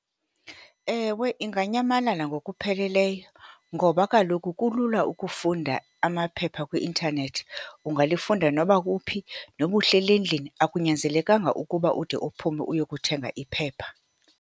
Ewe, inganyamalala ngokupheleleyo, ngoba kaloku kulula ukufunda amaphepha kwi-intanethi. Ungalifunda noba kuphi, noba uhleli endlini. Akunyanzelekanga ukuba ude uphume uyokuthenga iphepha.